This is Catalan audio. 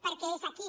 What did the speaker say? perquè és aquí